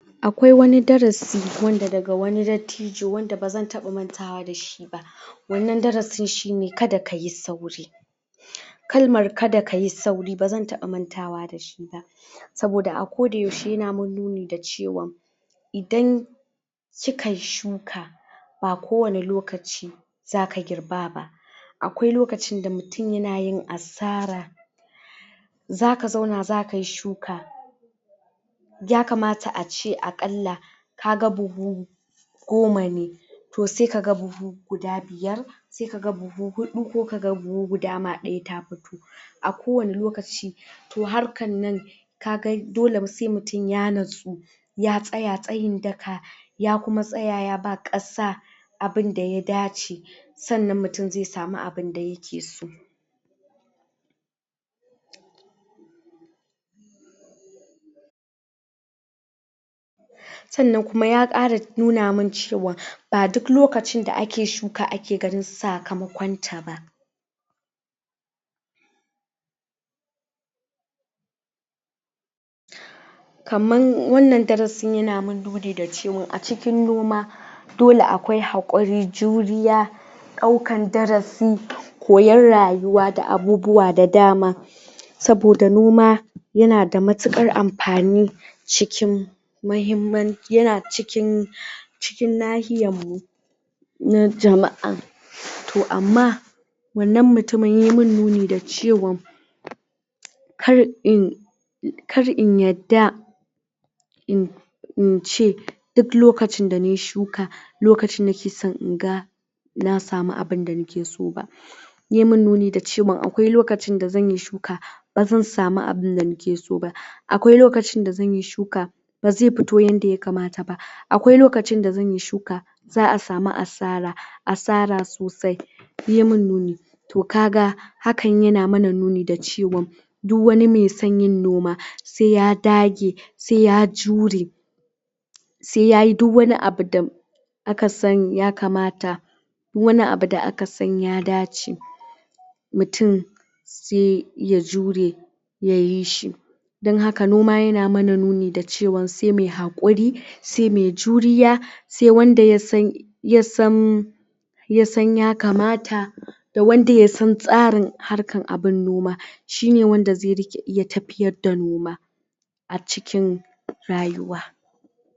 akwai wanni darasi wanda daga wani dattijo wanda bazan taba mantawa dashi ba wannan darasin shine kada kayi sauri kalmar kada kayi sauri bazan taba matawa dashi ba saboda a ko da yaushe yana mun nuni da cewan idan kikayi shuka ba kowani lokaci zaka girba ba akwai lokacin da mutum yana yin asara zaka zauna zakayi shuka ya kamata a ce akalla ka buhu goma ne toh sai kaga buhu guda biyar sai kaga buhu hudu ko kaga buhu gyda daya ma ta fito a kowani lokaci toh harkan nan kaga dole sai mutun ya natsu ya tsaya tsayin daka ya kuma tsaya ya ba kasa abunda ya dace sannan mutum zai samu abun da yakeso sannan kuma ya kara nuna mun cewa ba duk lokacin da ake shuka ake ganin sakamakonta ba kaman wannan darasin yana mun nuni dacewa a cikin noma dole akwai hakuri juriya daukan darasi koyan rayuwa da abubuwa da dama saboda noma yana da matukar amfani cikin maimman yana cikin cikin nahiyan mu na jama'a toh amma wannan mutumin yayi mun nuni da cewan kar in kar in yadda in ce duk lokacin da nayi shuka lokacin nake san in ga na samu abun da nakeso ba yayi mun nuni da cewa akwai lokacin da zanyi shuka bazan samu abunda nake so ba akwai lokacin da zanyi shuka bazi fito yanda ya kamata ba akwai lokacin dazanyi shuka za'a samu asara asara sosai yayi mun nuni toh kaga hakan yana mana nuni da cewan duk wani mai son yin noma sai ya dage sai ya jure sai yayi dukwani abu da aka sani ya kamata duk wani abu da aka san ya dace mutum sai ya jure yayi shi dan haka noma yana mana nuni da cewan sai mai hakuri sai mai juriya sai wanda yasan yasan yasan yakamata da wanda ya san tsarin harkan abun noma shine wanda zai rike iya tafiyar da noma a cikin rayuwa